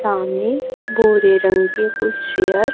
सामने गोरे रंग के कुछ शेयर --